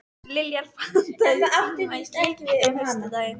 Liljar, pantaðu tíma í klippingu á föstudaginn.